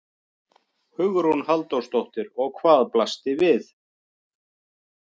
Hugrún Halldórsdóttir: Og hvað blasti við?